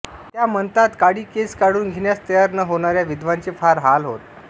त्या म्हणतातत्या काळी केस काढून घेण्यास तयार न होणाऱ्या विधवांचे फार हाल होत